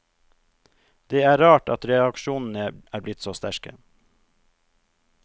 Det er rart at reaksjonene er blitt så sterke.